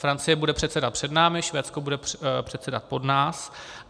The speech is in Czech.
Francie bude předsedat před námi, Švédsko bude předsedat po nás.